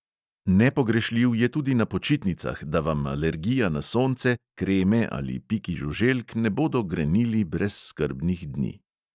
Nepogrešljiv je tudi na počitnicah, da vam alergija na sonce, kreme ali piki žuželk ne bodo grenili brezskrbnih dni.